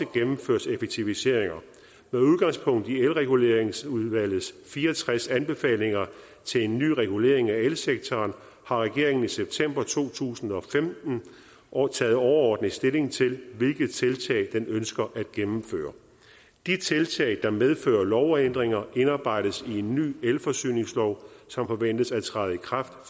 gennemføres effektiviseringer med udgangspunkt i elreguleringsudvalgets fire og tres anbefalinger til en ny regulering af elsektoren har regeringen i september to tusind og femten taget overordnet stilling til hvilke tiltag den ønsker at gennemføre de tiltag der medfører lovændringer indarbejdes i en ny elforsyningslov som forventes at træde i kraft